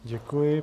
Děkuji.